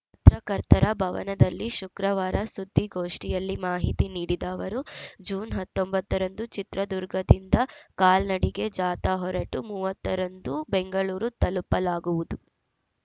ಪತ್ರಕರ್ತರ ಭವನದಲ್ಲಿ ಶುಕ್ರವಾರ ಸುದ್ದಿಗೋಷ್ಠಿಯಲ್ಲಿ ಮಾಹಿತಿ ನೀಡಿದ ಅವರು ಜೂನ್ ಹತ್ತೊಂಬತ್ತ ರಂದು ಚಿತ್ರದುರ್ಗದಿಂದ ಕಾಲ್ನಡಿಗೆ ಜಾಥಾ ಹೊರಟು ಮೂವತ್ತ ರಂದು ಬೆಂಗಳೂರು ತಲುಪಲಾಗುವುದು